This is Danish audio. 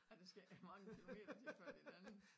Ej der skal ikke mange kilometer til før det en anden